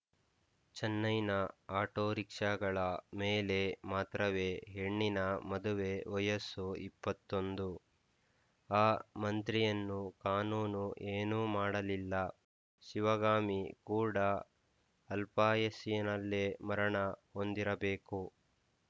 ಚೆನ್ನೈನ ಆಟೋರಿಕ್ಷಾಗಳ ಮೇಲೆ ಮಾತ್ರವೇ ಹೆಣ್ಣಿನ ಮದುವೆ ವಯಸ್ಸು ಇಪ್ಪತ್ತೊಂದು ಆ ಮಂತ್ರಿಯನ್ನು ಕಾನೂನು ಏನೂ ಮಾಡಲಿಲ್ಲ ಶಿವಗಾಮಿ ಕೂಡ ಅಲ್ಪಾಯಸ್ಸಿನಲ್ಲೇ ಮರಣ ಹೊಂದಿರಬೇಕು